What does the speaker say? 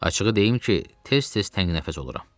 Açığı deyim ki, tez-tez təngnəfəs oluram.